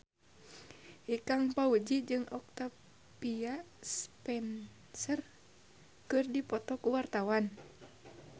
Ikang Fawzi jeung Octavia Spencer keur dipoto ku wartawan